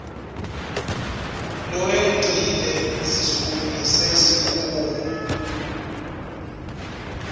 lowengcile sisukumise sikhungo